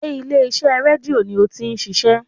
Sé ilé iṣẹ́ rédíò ni o ti n ṣiṣé?